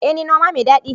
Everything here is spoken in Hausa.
Ee ni noma mai dadi